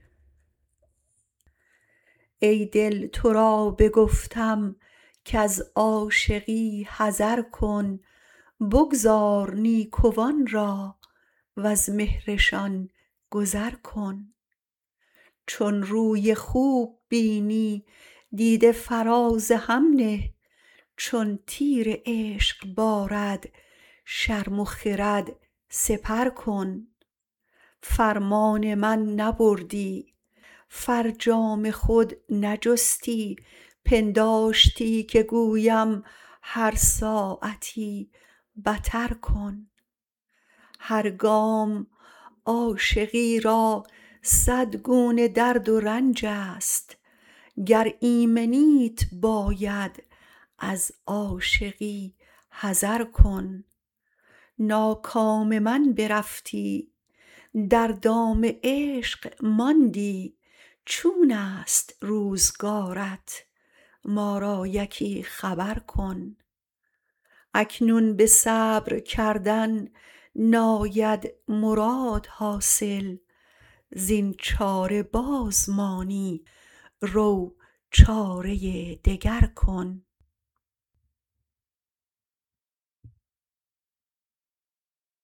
ای دل تو را بگفتم کز عاشقی حذر کن بگذار نیکوان را وز مهرشان گذر کن چون روی خوب بینی دیده فراز هم نه چون تیر عشق بارد شرم و خرد سپر کن فرمان من نبردی فرجام خود نجستی پنداشتی که گویم هر ساعتی بتر کن هر گام عاشقی را صدگونه درد و رنج است گر ایمنیت باید از عاشقی حذر کن ناکام من برفتی در دام عشق ماندی چونست روزگارت ما را یکی خبر کن اکنون به صبر کردن ناید مراد حاصل زین چاره باز مانی رو چاره دگر کن